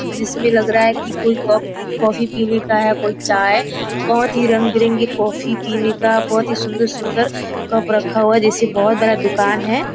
जिसमे लग रहा है कि कोई कप कॉफ़ी पिने का हैं कोई चाय बहुत ही रंग बिरंगी कॉफ़ी पिने का बहुत ही सुंन्दर सुंन्दर कप रखा हुआ है जैसे बहुत बड़ा दुकान है।